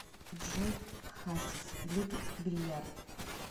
джой хасис любит бильярд